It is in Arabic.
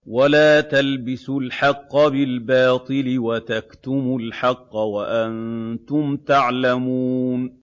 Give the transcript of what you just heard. وَلَا تَلْبِسُوا الْحَقَّ بِالْبَاطِلِ وَتَكْتُمُوا الْحَقَّ وَأَنتُمْ تَعْلَمُونَ